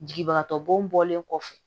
Jigibagatɔ bɔnlen kɔfɛ